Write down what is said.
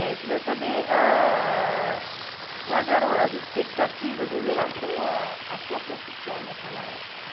Eu queria ah saber quais eram as expectativas em relação a à sua profissão naquela época.